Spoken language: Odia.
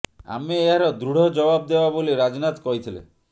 ଆମେ ଏହାର ଦୃଢ ଜବାବ ଦେବା ବୋଲି ରାଜନାଥ କହିଥିଲେ